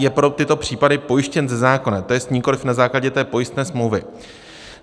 Je pro tyto případy pojištěn ze zákona, to jest nikoli na základě té pojistné smlouvy.